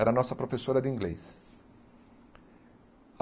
Era nossa professora de inglês.